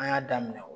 An y'a daminɛ o